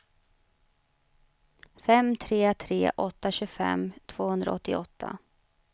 fem tre tre åtta tjugofem tvåhundraåttioåtta